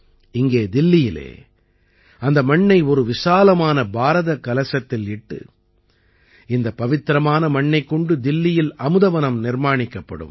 இங்கே தில்லியில் அந்த மண்ணை ஒரு விசாலமான பாரதக் கலசத்தில் இட்டு இந்த பவித்திரமான மண்ணைக் கொண்டு தில்லியில் அமுத வனம் நிர்மாணிக்கப்படும்